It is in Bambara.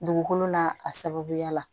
Dugukolo n'a a sababuya la